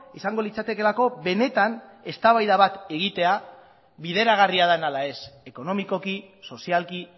izango litzatekeelako benetan eztabaida bat egitea bideragarria den ala ez ekonomikoki sozialki